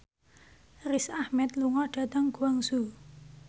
Riz Ahmed lunga dhateng Guangzhou